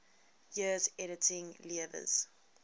years editing lewes's